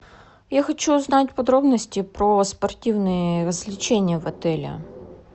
я хочу узнать подробности про спортивные развлечения в отеле